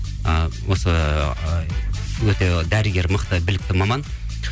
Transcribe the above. ы осы ыыы өте дәрігер мықты білікті маман